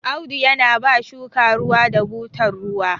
Audu yana ba shuka ruwa da butar ruwa